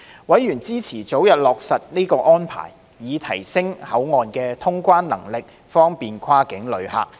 委員支持早日落實這安排，以提升口岸通關能力，方便跨境旅客。